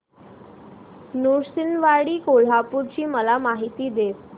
नृसिंहवाडी कोल्हापूर ची मला माहिती दे